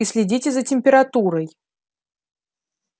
и следите за температурой